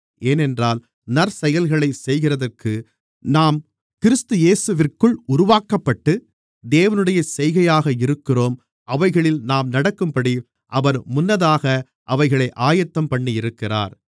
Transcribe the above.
ஏனென்றால் நற்செயல்களைச் செய்கிறதற்கு நாம் கிறிஸ்து இயேசுவிற்குள் உருவாக்கப்பட்டு தேவனுடைய செய்கையாக இருக்கிறோம் அவைகளில் நாம் நடக்கும்படி அவர் முன்னதாக அவைகளை ஆயத்தம்பண்ணியிருக்கிறார்